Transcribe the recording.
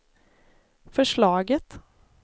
förslaget